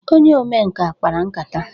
Onye omenkà kpara nkata.